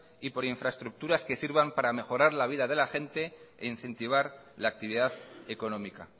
y por infraestructuras que sirvan para mejorar la vida de la gente e incentivar la actividad económica